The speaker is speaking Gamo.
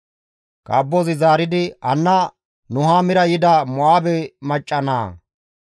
Kaabbozi zaaridi, «Hanna Nuhaamira yida Mo7aabe dere macca naa.